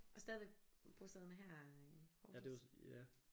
Og stadigvæk bosiddende her i Aarhus